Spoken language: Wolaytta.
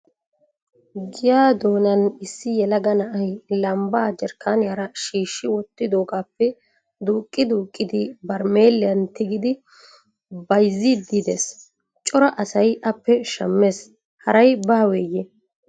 Giyaa doonan issi yelaga na"ay lambbaa jerkkaaniyaara shiishshi wottidoogaappe duuqqi duuqidi barmeeliyan tigidi bayzziddi des. Cora asay appe shammes haray baaweyye?